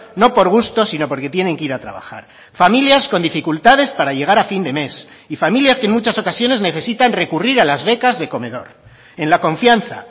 no por gusto sino porque tienen que ir a trabajar familias con dificultades para llegar a fin de mes y familias que en muchas ocasiones necesitan recurrir a las becas de comedor en la confianza